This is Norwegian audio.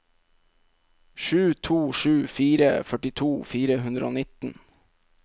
sju to sju fire førtito fire hundre og nitten